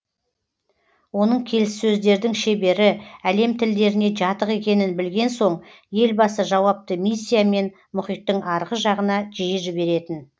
оның келіссөздердің шебері әлем тілдеріне жатық екенін білген соң елбасы жауапты миссиямен мұхиттың арғы жағына жиі жіберетін